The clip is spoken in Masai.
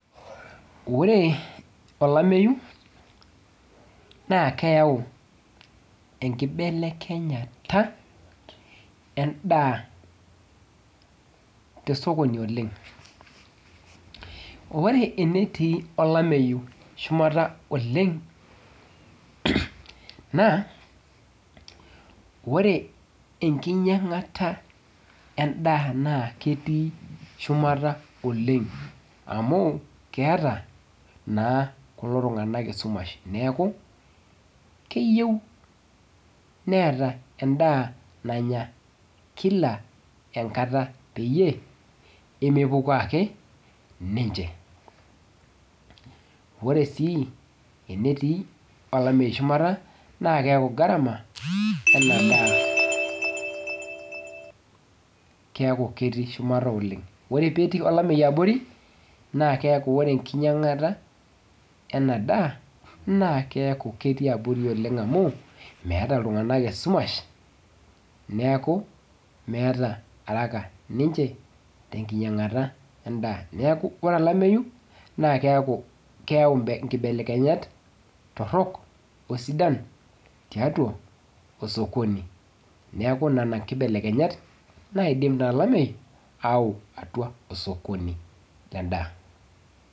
Ore olameyu naakeyau enkibelekenyata endaa tosokoni oleng. Ore enetii olameyu shumata oleng naa ore enkinyangata endaa naa ketii shumata oleng amu keeta naa kulo tunganak esumash neeku keyieu neeta endaa nanya kila enkata peyie emepukoo ake ninche .Ore sii enetii olameyu shumata naa keaku garama enadaa keaku ketii shumata oleng .Ore petii olameyu abori naa keaku ore enkinyanagata enadaa naa keaku ketii abori oleng amu meeta iltunganak esumash neeku meeta haraka ninche tenkinyangata endaa neeku ore olameyu naa keeku keyau nkibelekenyat torok osidan tiatua osokoni. Neeku nena nkibelekenyat naidim naa olameyu aau atua osokoni lendaa .